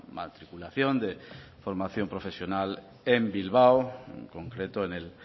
matriculación de formación profesional en bilbao en concreto en el